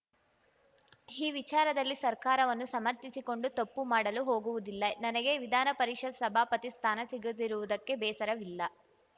ಈ ವಿಚಾರದಲ್ಲಿ ಸರ್ಕಾರವನ್ನು ಸಮರ್ಥಿಸಿಕೊಂಡು ತಪ್ಪು ಮಾಡಲು ಹೋಗುವುದಿಲ್ಲ ನನಗೆ ವಿಧಾನಪರಿಷತ್‌ ಸಭಾಪತಿ ಸ್ಥಾನ ಸಿಗದಿರುವುದಕ್ಕೆ ಬೇಸರವಿಲ್ಲ